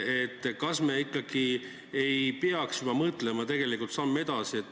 Kas me ikkagi ei peaks mõtlema samm edasi?